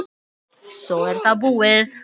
Svo er það búið.